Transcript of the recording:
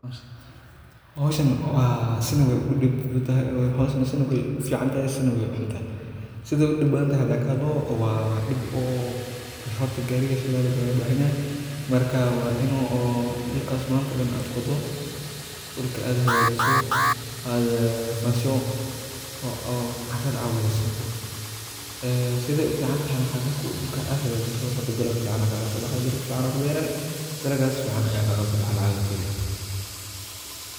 Hawshan si ay u dhigantahay wey u fududahay, hawshan si na wey u fiicantahay, si na wey u xuntahay sida ay u dhib badan tahay. Hadaan ka hadlo, horta gaariga shidaal ayuu kaga baahan yahay. Waa inaad dhulka maanta dhan aad qoddo, dhulka aad hagaajiso, aad fasho oo aad ciidda wada siinto. Sidee u fiicantahayna maxaa weeye? Marka dhulka aad hagaajiso, dalag fiican ayaa kaga soo baxayaa, dalag fiican ayaa ku beermaya, dalaggaas ayaana kaga soo baxaya lacag aad ka heli.